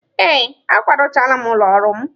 Ee, akwado chaala m ụlọ ọrụ m.